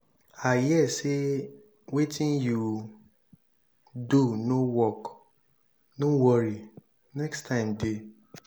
i hear say wetin you do no work no worry next time dey.